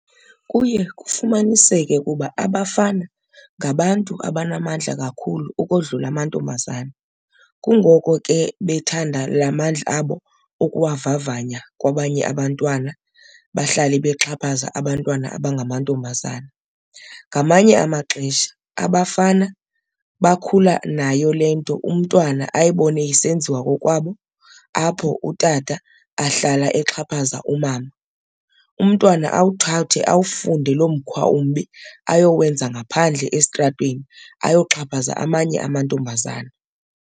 Kuye kufumanisekeu kuba abafana ngabantu abanamandla kakhulu ukodlula amantombazana, kungoko ke bethanda la mandla abo ukuwavavanya kwabanye abantwana bahlale bexhaphaza abantwana abangamantombazana. Ngamanye amaxesha abafana bakhula nayo le nto, umntwana ayibone isenziwa kokwabo apho utata ahlala exhaphaza umama, umntwana awuthathe awafunde loo mkhwa umbi ayowenza ngaphandle estratweni, ayoxhaphaza amanye amantombazana.